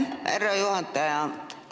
Aitäh, härra juhataja!